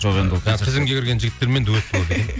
тізімге кірген жігіттермен дуэт болады